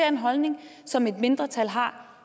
en holdning som et mindretal har